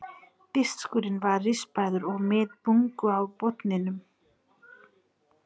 Diskurinn var rispaður og með bungu á botninum.